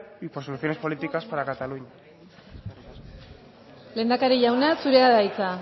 y por soluciones políticas para cataluña lehendakari jauna zurea da hitza